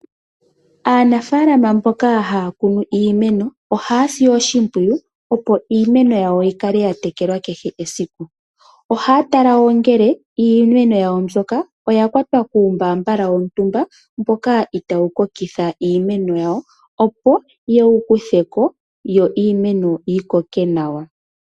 Aanafaalama mboka haya kunu iimeno ohaya si oshipwiyu, opo iimeno yikale ya tekelwa kehe esiku. Ohaya tala wo ngele iimeno yawo mbyoka oya kwatwa kuu mbaabala wontumba mboka itaawu kokitha iimeno yawo, opo yewu kutheko yo iimeno yikoke nawa.